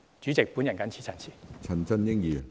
主席，我謹此陳辭。